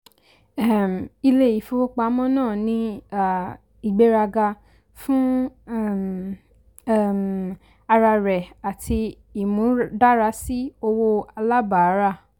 um ilé ìfowópamọ́ náà ní um ìgbéraga fún um um ara rẹ àti imúdárasí owó alábàárà.